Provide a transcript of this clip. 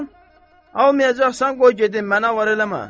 Almayacaqsan, qoy gedim, mənə var eləmə.